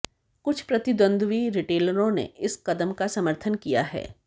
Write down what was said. कुछ प्रतिद्वंद्वी रिटेलरों ने इस कदम का समर्थन किया है